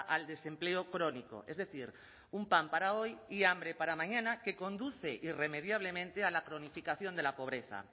al desempleo crónico es decir un pan para hoy y hambre para mañana que conduce irremediablemente a la cronificación de la pobreza